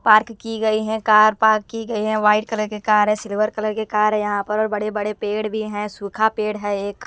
Park की गई है कार पार्क की गई है वाइट कलर के कार है सिल्वर कलर के कार है यहां पर और बड़े-बड़े पेड़ भी हैं सूखा पेड़ है एक।